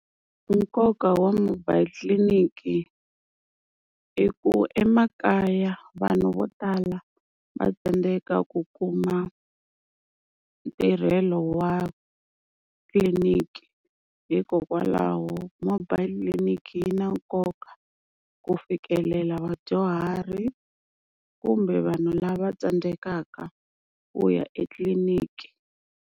Nkoka wa mobile tliliniki, i ku emakaya vanhu vo tala va tsandzeka ku kuma ntirhelo wa tliliniki, hikokwalaho mobile clinic yi na nkoka ku fikelela vadyuhari kumbe vanhu lava tsandzekaka ku ya etliliniki.